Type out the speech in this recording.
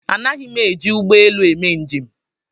Anaghi m eji ụgbọelu eme njem